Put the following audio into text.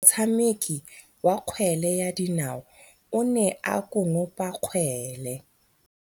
Motshameki wa kgwele ya dinaô o ne a konopa kgwele.